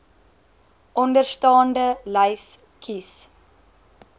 onderstaande lys kies